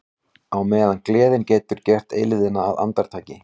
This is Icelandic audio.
Á meðan gleðin getur gert eilífðina að andartaki.